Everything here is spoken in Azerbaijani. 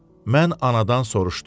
Mən anadan soruşdum.